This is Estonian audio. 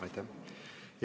Aitäh!